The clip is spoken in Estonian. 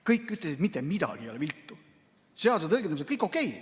Kõik ütlesid, et mitte midagi ei ole viltu, seaduse tõlgendamisel on kõik okei.